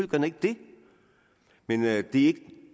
den ikke det men at det